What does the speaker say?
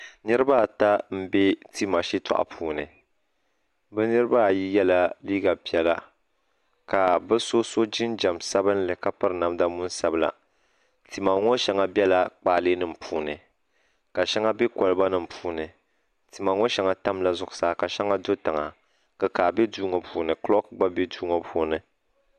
Niriba ata m be tima shitoɣu puuni bɛ niriba ayi yela liiga piɛla ka bu so so jinjiɛm sabimli ka piri namdaa tima ŋɔ sheŋa bela kpaali nima puuni ka sheŋa be koliba nima puuni tima ŋɔ sheŋa tamla zuɣusaa ka sheŋa do tiŋa kikaa biɛ duu ŋɔ puuni kloki biɛ duumaa puuni.